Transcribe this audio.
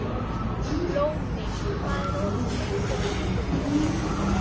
Lóni, hvað er opið lengi á sunnudaginn?